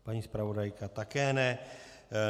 Paní zpravodajka také ne.